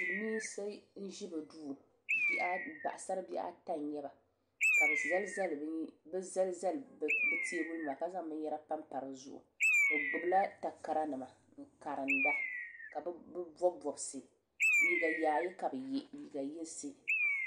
Silimiinsi n zi bi duu paɣasari bihi ata nyɛ ba ka bi zali zali bi tɛɛbuli nima ka zaŋ bini yɛra pa m-pa di zuɣu bi gbubi la takara nima n karimda ka bi bɔbi bɔbisi liiga yaayɛ kabi ye liiga yinsi.